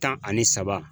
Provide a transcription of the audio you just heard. Tan ani saba